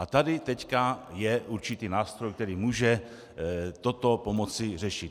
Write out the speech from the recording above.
A tady teď je určitý nástroj, který může toto pomoci řešit.